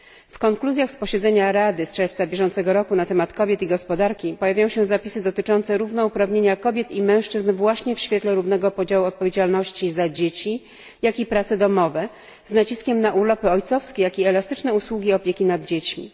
W konkluzjach z posiedzenia Rady z czerwca bieżącego roku na temat kobiet i gospodarki pojawiają się zapisy dotyczące równouprawnienia kobiet i mężczyzn właśnie w świetle równego podziału odpowiedzialności za dzieci oraz prace domowe z naciskiem na urlopy ojcowskie, jak i elastyczne usługi opieki nad dziećmi.